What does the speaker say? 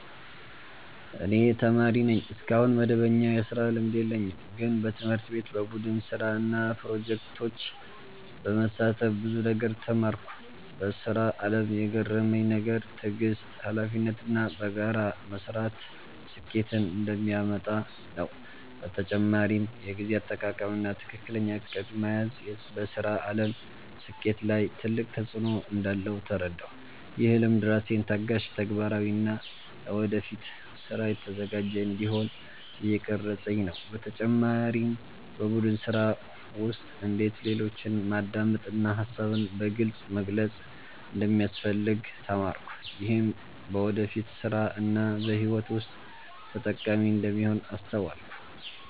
እኔ ተማሪ ነኝ፣ እስካሁን መደበኛ የስራ ልምድ የለኝም። ግን በትምህርት ቤት በቡድን ስራ እና ፕሮጀክቶች በመሳተፍ ብዙ ነገር ተማርኩ። በስራ አለም የገረመኝ ነገር ትዕግስት፣ ሀላፊነት እና በጋራ መስራት ስኬትን እንደሚያመጣ ነው። በተጨማሪም የጊዜ አጠቃቀም እና ትክክለኛ እቅድ መያዝ በስራ አለም ስኬት ላይ ትልቅ ተፅዕኖ እንዳለው ተረዳሁ። ይህ ልምድ ራሴን ታጋሽ፣ ተግባራዊ እና ለወደፊት ስራ የተዘጋጀ እንዲሆን እየቀረፀኝ ነው። በተጨማሪም በቡድን ስራ ውስጥ እንዴት ሌሎችን ማዳመጥ እና ሀሳብን በግልፅ መግለጽ እንደሚያስፈልግ ተማርኩ። ይህም በወደፊት ስራ እና በህይወት ውስጥ ጠቃሚ እንደሚሆን አስተዋልኩ።